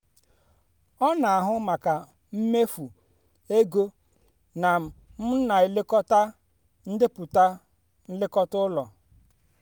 ọ na-ahụ maka mmefu ego na m na-elekọta ndepụta nlekọta ụlọ. um